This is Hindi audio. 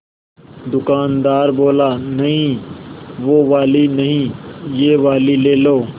दुकानदार बोला नहीं वो वाली नहीं ये वाली ले लो